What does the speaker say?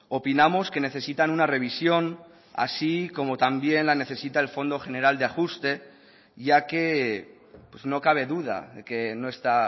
opinamos que necesitan una revisión así como también la necesita el fondo general de ajuste ya que no cabe duda de que no está